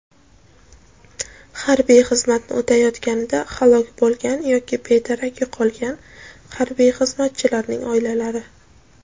harbiy xizmatni o‘tayotganida halok bo‘lgan yoki bedarak yo‘qolgan harbiy xizmatchilarning oilalari;.